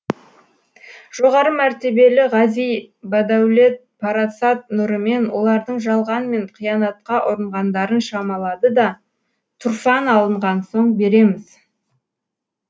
жоғары мәртебелі ғази бадәулет парасат нұрымен олардың жалған мен қиянатқа ұрынғандарын шамалады да тұрфан алынған соң береміз